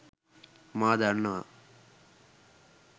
මා දන්නවා.